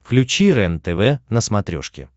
включи рентв на смотрешке